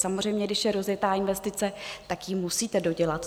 Samozřejmě, když je rozjetá investice, tak ji musíte dodělat.